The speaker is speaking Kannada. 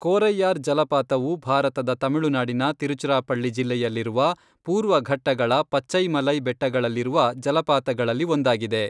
ಕೋರೈಯಾರ್ ಜಲಪಾತವು ಭಾರತದ ತಮಿಳುನಾಡಿನ ತಿರುಚಿರಾಪಳ್ಳಿ ಜಿಲ್ಲೆಯಲ್ಲಿರುವ ಪೂರ್ವ ಘಟ್ಟಗಳ ಪಚ್ಚೈಮಲೈ ಬೆಟ್ಟಗಳಲ್ಲಿರುವ ಜಲಪಾತಗಳಲ್ಲಿ ಒಂದಾಗಿದೆ.